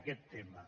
aquest tema